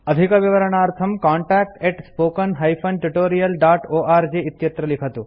अधिकविवरणार्थं contactspoken tutorialorg इत्यत्र लिखन्तु